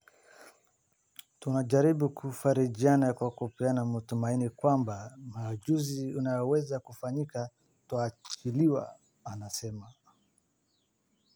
"Tunajaribu kufarijiana kwa kupeana matumaini kwamba muujiza unaweza kufanyika tukaachiliwa," anasema.